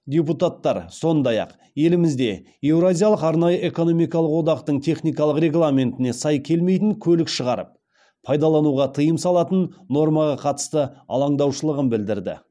депутаттар сондай ақ елімізде еуразиялық арнайы экономикалық одақтың техникалық регламентіне сай келмейтін көлік шығарып пайдалануға тыйым салатын нормаға қатысты алаңдаушылығын білдірді